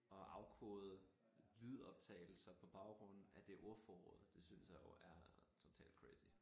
Og afkode lydoptagelser på baggrund af det ordforråd det synes jeg jo er totalt crazy